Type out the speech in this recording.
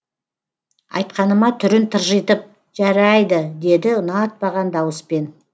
айтқаныма түрін тыржитып жәрайды деді ұнатпаған дауыспен